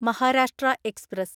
Maharashtra express